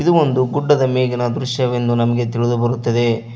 ಇದು ಒಂದು ಗುಡ್ಡದ ಮೇಲಿನ ದೃಶ್ಯವೆಂದು ನಮಗೆ ತಿಳಿದು ಬರುತ್ತದೆ.